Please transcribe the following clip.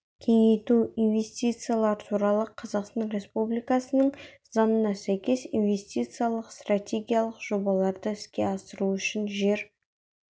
кеңейту инвестициялар туралы қазақстан республикасының заңына сәйкес инвестициялық стратегиялық жобаларды іске асыру үшін жер